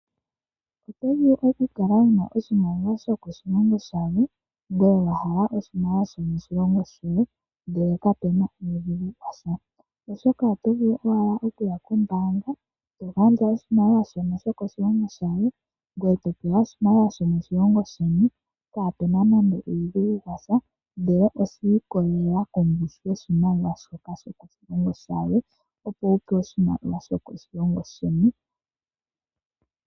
Otovulu okukala wuna oshimaliwa shokoshilongo shalwe ngoye wahala oshimaliwa shomoshilongo shoye ndele kapena uudhigu washa. Oshoka otovulu owala okuya kombaanga togandja oshimaliwa shono shokoshilongo shalwe ngoye topewa oshimaliwa shomoshilongo sheni, kaapena nande uudhigu washa ndele oshiikolela kongushu yoshimaliwa shoka shokoshilongo shalwe opo wupewe oshimaliwa shokoshilongo sheni.